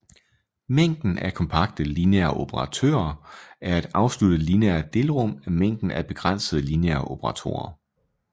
Mængden af kompakte lineære operatorer er et afsluttet lineært delrum af mængden af begrænsede lineære operatorer